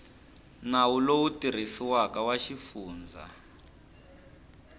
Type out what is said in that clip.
nawu lowu tirhisiwaka wa xifundza